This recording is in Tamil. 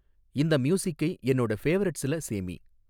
இந்த மியூசிக்கை என்னோட ஃபேவரட்ஸ்ல சேமி